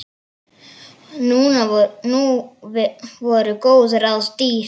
Nú voru góð ráð dýr!